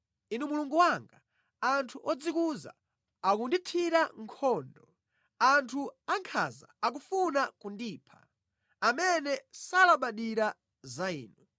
Inu Mulungu wanga, anthu odzikuza akundithira nkhondo; anthu ankhanza akufuna kundipha, amene salabadira za Inu.